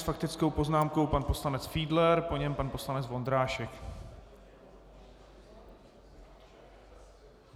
S faktickou poznámkou pan poslanec Fiedler, po něm pan poslanec Vondrášek.